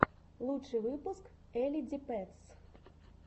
лучший выпуск элли ди пэтс